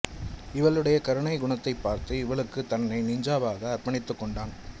இவளுடைய கருணை குணத்தைப் பார்த்து இவளுக்கு தன்னை நிஞ்சாவாக அர்ப்பணித்துக்கொண்டான்